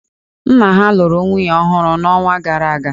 Nna ha lụrụ nwunye ọhụrụ n'ọnwa gara aga.